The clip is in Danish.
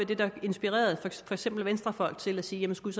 det der inspirerede for eksempel venstrefolk til at sige skulle